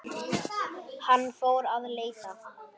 Hann fór að leita.